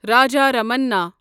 Raja Ramanna